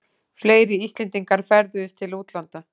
Fleiri Íslendingar ferðuðust til útlanda